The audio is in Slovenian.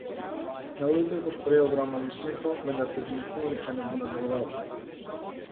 Na ulicah boš prejel ogromno nasmehov, vendar te zanesljivo nihče ne bo nadlegoval.